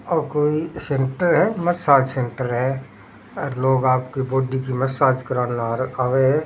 ओ कोई सेंटर है मसाज सेंटर है आर लोग आपकी बॉडी की मसाज कराण आव है।